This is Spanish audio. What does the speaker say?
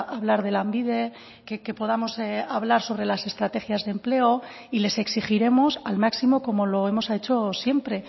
a hablar de lanbide que podamos hablar sobre las estrategias de empleo y les exigiremos al máximo como lo hemos hecho siempre